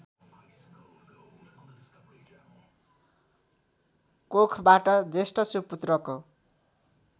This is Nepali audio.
कोखबाट जेष्ठ सुपुत्रको